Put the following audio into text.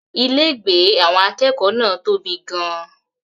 Ilégbèé àwọn akẹ́kọ̀ọ́ náà tóbi gan-an.